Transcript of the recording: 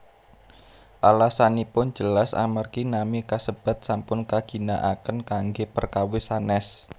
Alasanipun jelas amargi nami kasebat sampun kaginaaken kanggé perkawis sanès